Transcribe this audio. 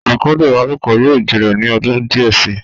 ikudun ìbálòpọ̀ yóò gbilẹ̀ ní ọdún díẹ̀ si.